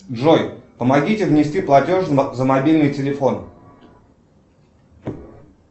джой помогите внести платеж за мобильный телефон